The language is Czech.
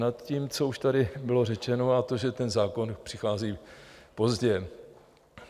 Nad tím, co už tady bylo řečeno, a to, že ten zákon přichází pozdě.